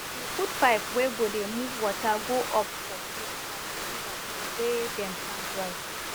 we put pipe wey go dey move water go up for hill from di river to wey dem plant rice